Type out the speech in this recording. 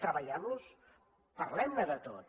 treballem los parlem ne de tot